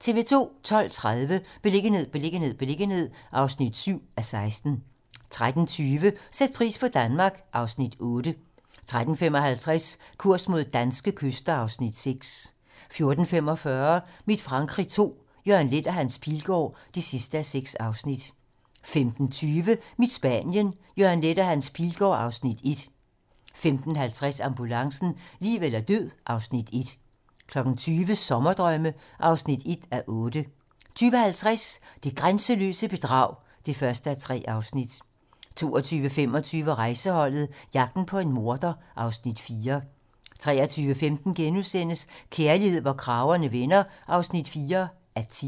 12:30: Beliggenhed, beliggenhed, beliggenhed (7:16) 13:20: Sæt pris på Danmark (Afs. 8) 13:55: Kurs mod danske kyster (Afs. 6) 14:45: Mit Frankrig II - Jørgen Leth og Hans Pilgaard (6:6) 15:20: Mit Spanien - Jørgen Leth og Hans Pilgaard (Afs. 1) 15:50: Ambulancen - liv eller død (Afs. 1) 20:00: Sommerdrømme (1:8) 20:50: Det grænseløse bedrag (1:3) 22:25: Rejseholdet - jagten på en morder (Afs. 4) 23:15: Kærlighed, hvor kragerne vender (4:10)*